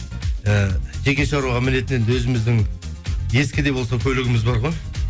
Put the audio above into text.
і жеке шаруаға мінетін енді өзіміздің ескі де болса көлігіміз бар ғой